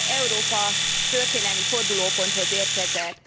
Európa történelmi fordulóponthoz érkezett.